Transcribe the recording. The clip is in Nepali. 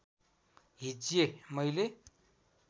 हिज्जे मैले